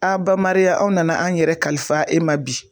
A bamariya aw nana an yɛrɛ kalifa e ma bi